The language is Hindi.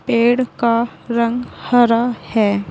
पेड़ का रंग हरा है।